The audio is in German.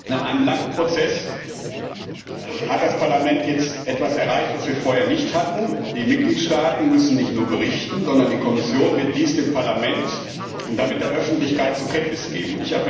Nach einem langen Prozess hat das Parlament jetzt etwas erreicht, was wir vorher nicht hatten Die Mitgliedstaaten müssen nicht nur berichten, sondern die Kommission wird dies dem Parlament und damit der Öffentlichkeit zur Kenntnis vorlegen.